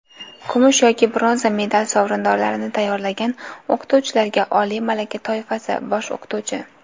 kumush yoki bronza medal sovrindorlarini tayyorlagan o‘qituvchilarga – oliy malaka toifasi (bosh o‘qituvchi).